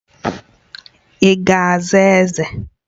Ị ga-aza Eze!